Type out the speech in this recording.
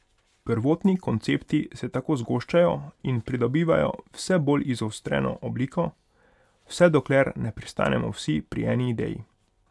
Prvotni koncepti se tako zgoščajo in pridobivajo vse bolj izostreno obliko, vse dokler ne pristanemo vsi pri eni ideji.